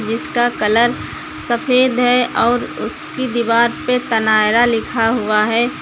इसका कलर सफेद है और उसकी दीवार पे तनायरा लिखा हुआ है।